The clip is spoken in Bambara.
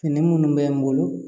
Fini minnu bɛ n bolo